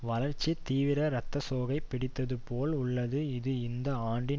வளர்ச்சி தீவிர இரத்த சோகை பிடித்தது போல் உள்ளது இது இந்த ஆண்டின்